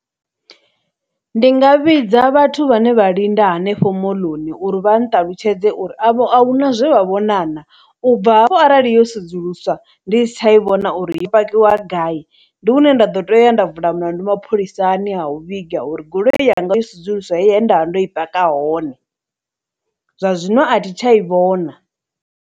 Ndi nga vhidza vhathu vhane vha linda hanefho moḽoni uri vha nṱalutshedze uri avho ahuna zwe vha vhonana, u bva hafho arali yo sedzuluswa ndi si tsha i vhona uri i pakiwa gai, ndi hune nda ḓo tea u ya nda vula mulandu mapholisani ha u vhiga uri goloi yanga yo sudzuluswa he nda vha ndo i paka hone, zwa zwino athi tsha i vhona.